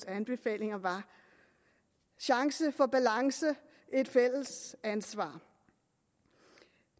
anbefalinger var chance for balance et fælles ansvar